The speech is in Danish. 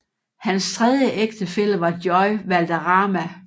Hans tredje ægtefælle var Joy Valderrama